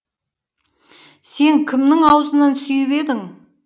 сен кімнің аузынан сүйіп едің